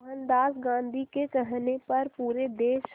मोहनदास गांधी के कहने पर पूरे देश